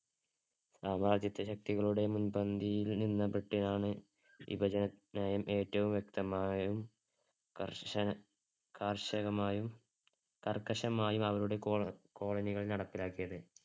സാമ്രാജ്യത്വ ശക്തികളുടെ മുൻപന്തിയിൽ നിന്ന് വിഭജനത്തിനായും ഏറ്റവും വ്യക്തമായും കർശന~ കർശനമായും കർക്കശമായും അവരുടെ colo~colony കൾ നടപ്പിലാക്കിയത്.